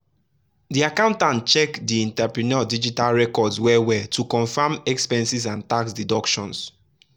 the accountant check the entrepreneur digital records well-well to confirm expenses and tax deductions.